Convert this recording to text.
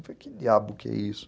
Eu falei, que diabo que é isso?